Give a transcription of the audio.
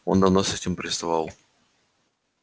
он давно с этим приставал